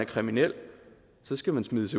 kriminel så skal man smides